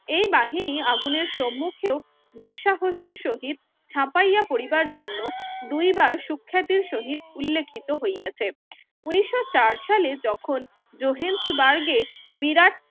এই বাহিনী আগুনের সুম্মুখেও দুঃসাহস এর সহিত ঝাঁপাইয়া পরিবার এর জন্য দুইবার সুখ্যাত এর সহিত উল্লেখিত হইয়াছে ঊনিশো চার সালে যখন জোহেন্সবার্গে বিরাট